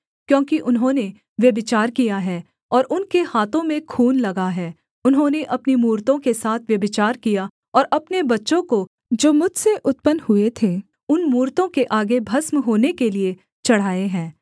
क्योंकि उन्होंने व्यभिचार किया है और उनके हाथों में खून लगा है उन्होंने अपनी मूरतों के साथ व्यभिचार किया और अपने बच्चों को जो मुझसे उत्पन्न हुए थे उन मूरतों के आगे भस्म होने के लिये चढ़ाए हैं